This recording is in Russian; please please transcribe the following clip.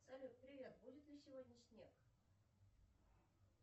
салют привет будет ли сегодня снег